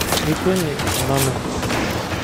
Mikweni onanu.